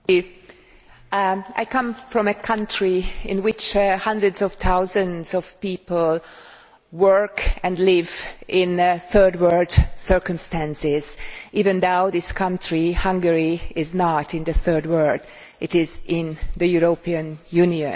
Madam President, I come from a country in which hundreds of thousands of people work and live in third world circumstances, even though that country, Hungary, is not in the third world it is in the European Union.